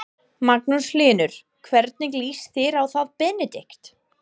Magnús Hlynur: hvernig líst þér á það Benedikt?